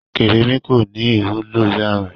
Kérémi kọ́ ni ìwúlò yanrìn.